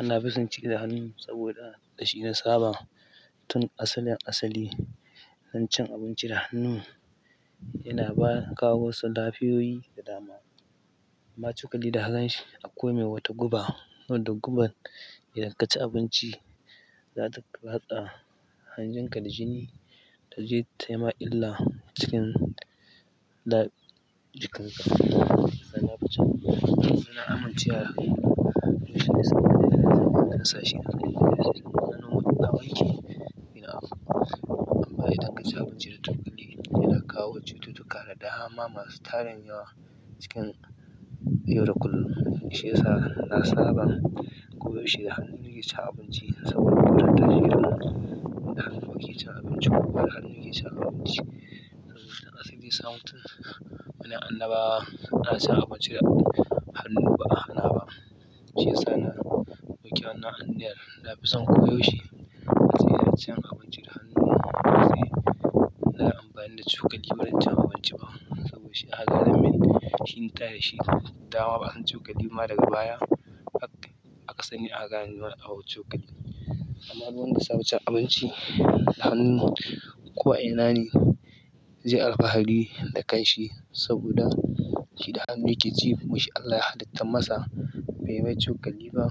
Ina fison ci da hannu saboda dashi na saba tun asalin-asali. In cin abinci da hannu yana ba ka wasu lafiyoyi da dama. Ma cukalli da hannun shi komai wata guba, to guban idan ka ci abinci za ta haɗa hanjin ka da jini taje tai ma illa cikin da na amincewa da musulunci yana zama dasashi na gani yana da alfanun da nawa yake yana. Amman idan akaci abinci da tunbuɗi yana kawo cututtuka da dama masu tarin yawa cikin yau da kullun, shiyasa na saba ko yaushe hannu nake cin abinci hannu nake cin abinci a siri sa mutun na annabawa ana sa abinci da hannu ba a hana ba. Shiyasa na riƙe wannan anniyar na fison koyaushe. Na tsaya na cin abinci da hannu na kuma ba zai na amfani da cokali wurin cin abinci ba saboda shi hakan na min shi nita da shi. Dama ba'a san cokali ma daga baya. Aka sani aka kano wani abuma cokali amma du wanda ya saba cin abinci da hannu ko a ina ne? Zai alfahari da kanshi saboda shi da hannu yake ci kuma shi Allah ya halittan masa bai mai cokali ba.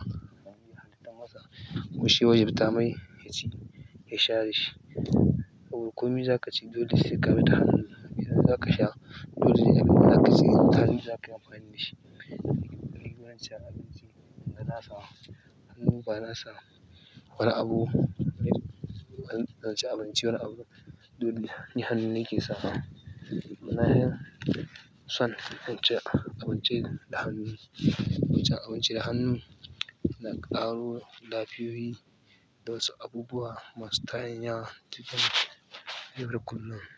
Kuma shiya wajabtamai yaci dashi ya sha dashi to komai za ka ci dole sai ka bi da hannu. Idan za ka sha, dole sai ka tsige mutani za ka yi amfani da shi. Cukalli wurin cin abinci bana sawa, hannu ba na sawa. Wani abu na cin abinci wani abu dole ni hannu nake sawa. Mana har son cin abinci da hannu, cin abinci da hannu yana ƙaro lafiyoyi da wasu abubuwa masu tarin yawa cikin yaro kullum.